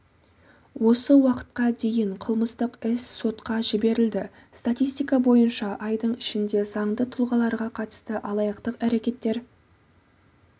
осы уақытқа дейін қылмыстық іс сотқа жіберілді статистика бойынша айдың ішінде заңды тұлғаларға қатысты алаяқтық әрекеттер